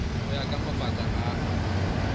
go ya ka mabaka a